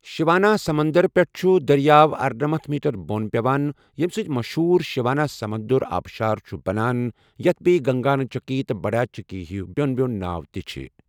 شیواناسمندر پٮ۪ٹھ چھُ دٔریاو ارَنَمنتھ میٖٹر بۄن پٮ۪وان، ییٚمہِ سۭتہِ مٔشہوٗر شیواناسمودرا آبشار چھُ بنان یتھ بییہ گگنا چٗکی تہٕ بڈا چٗکی ہی بیو٘ن بیو٘ن ناو تہِ چھِ ۔